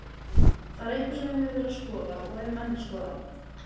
Það er eitthvað sem við höfum verið að skoða og erum enn að skoða.